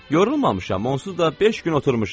Yorulmamışam, onsuz da beş gün oturmuşam.